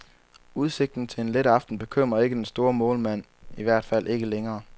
Udsigten til en let aften bekymrer ikke den store målmand, i hvert fald ikke længere.